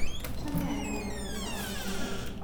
Achame anai aroretap ng'olyot